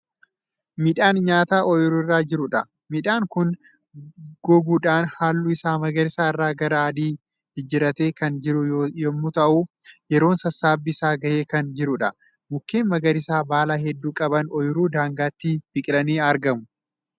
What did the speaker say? Midhaan nyaataa ooyruurra jiruudha. midhaan Kuni goguudhann halluu Isaa magariisa irraa gara adii jijjiirratte Kan jiru yemmuu ta'u yeroon sassaabbii Isaa gahee Kan jiruudha. mukkeen magariisa baala hedduu qaban ooyruu daangaatti biqilanii argamu.